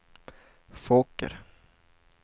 Fåker